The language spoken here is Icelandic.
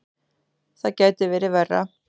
Það gæti verið verra.